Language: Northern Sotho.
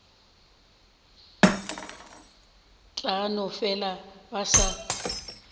tla no fela ba sa